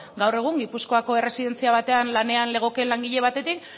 gaur egun gipuzkoako erresidentzia batean lanean legoken langile batetik